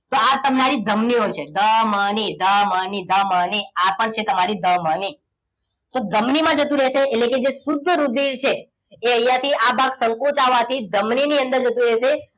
આ તમારી ધમનીઓ ધમની ધમની ધમની આ પણ છે તમારી ધમની તો ધમની માં જતું રહેશે એટલે કે જે શુદ્ધ રુધિર છે એ અહીંયા થી આ ભાગ સંકોચાવાથી ધમની ની અંદર જતું રહેશે